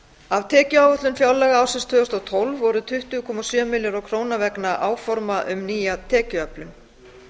af tekjuáætlun fjárlaga ársins tvö þúsund og tólf voru tuttugu komma sjö milljarðar króna vegna áforma um nýja tekjuöflun